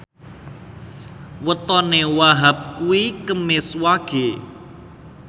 wetone Wahhab kuwi Kemis Wage